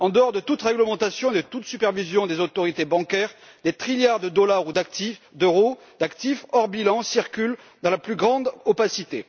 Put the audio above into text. En dehors de toute réglementation et de toute supervision des autorités bancaires, des trilliards de dollars ou d'euros d'actifs hors bilan circulent dans la plus grande opacité.